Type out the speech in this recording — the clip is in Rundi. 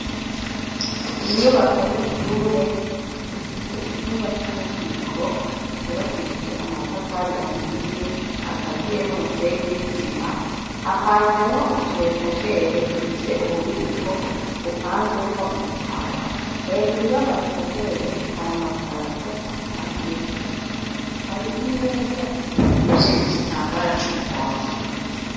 Inyubako y'ishure, ifise icumba c'ububiko cubakishije amatafari ahiye, akaziye n'umusenyi nisima, hapanzemwo utu etajeri dufise ububiko bupanzemwo ibitabo, hejuru y'ama etajeri hari amakarato apanzeho, hari imeza ipfungishije igitambara c'umuhondo.